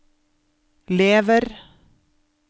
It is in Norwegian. lever